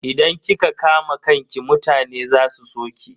Idan kika kama kanki mutane za su so ki.